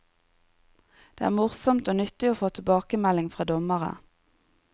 Det er morsomt og nyttig å få tilbakemelding fra dommere.